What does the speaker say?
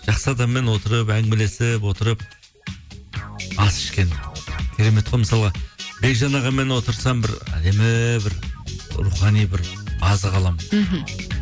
жақсы адаммен отырып әңгімелесіп отырып ас ішкен керемет қой мысалға бекжан ағамен отырсам бір әдемі бір рухани бір азық аламын мхм